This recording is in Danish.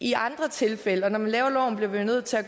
i andre tilfælde laver love bliver vi nødt til at